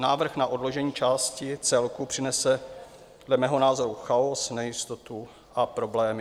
Návrh na odložení části celku přinese dle mého názoru chaos, nejistotu a problémy.